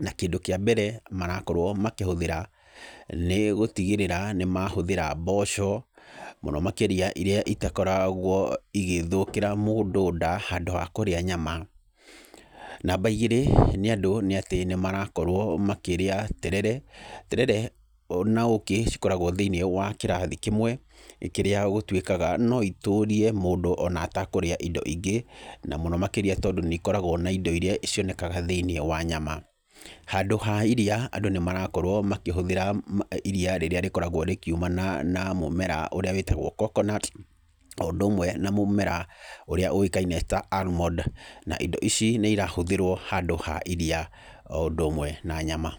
na kĩndũ kĩa mbere, marakorwo makĩhũthĩra, nĩ gũtigĩrĩra nĩ mahũthĩra mboco, mũno makĩria iria itakoragwo igĩthũkĩra mũndũ nda, handũ ha kũrĩa nyama. Namba igĩrĩ nĩ atĩ, andũ nĩ marakorwo makĩrĩa terere, terere na ũũkĩ cikoragwo thĩiniĩ wa kĩrathi kĩmwe, kĩrĩa gũtuĩkaga no itũrie mũndũ ona atakũrĩa indo ingĩ na mũno makĩria, tondũ nĩ ikoragwo na indo iria cionekaga thĩ-inĩ wa nyama. Handũ ha iria, andũ nĩ marakorwo makĩhũthĩra iria rĩrĩa rĩkoragwo rĩkiumana na mũmera ũrĩa wĩtagwo coconut, o ũndũ ũmwe na mũmera ũrĩa ũĩkaine ta almond, na indo ici nĩ irahũthĩrwo handũ ha iria o ũndũ ũmwe na nyama.